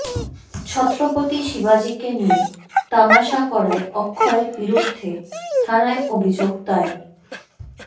ছত্রপতি শিবাজিকে নিয়ে তামাশা করায় অক্ষয়ের বিরুদ্ধে থানায় অভিযোগ দায়ের